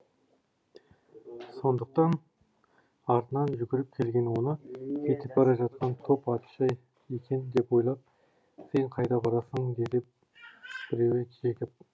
сондықтан артынан жүгіріп келген оны кетіп бара жатқан топ атшы екен деп ойлап сен қайда барасың деді біреуі жекіп